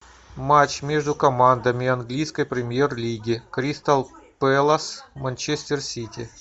матч между командами английской премьер лиги кристал пэлас манчестер сити